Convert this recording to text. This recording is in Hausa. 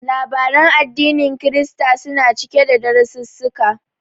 Labaran addinin Kirista suna cike da darasissuka.